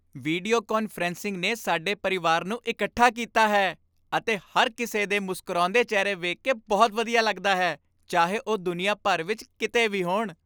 video conferencing ਨੇ ਸਾਡੇ ਪਰਿਵਾਰ ਨੂੰ ਇਕੱਠਾ ਕੀਤਾ ਹੈ ਅਤੇ ਹਰ ਕਿਸੇ ਦੇ ਮੁਸਕਰਾਉਂਦੇ ਚਿਹਰੇ ਵੇਖ ਕੇ ਬਹੁਤ ਵਧੀਆ ਲੱਗਦਾ ਹੈ ਚਾਹੇ ਉਹ ਦੁਨੀਆ ਭਰ ਵਿੱਚ ਕਿਤੇ ਵੀ ਹੋਣ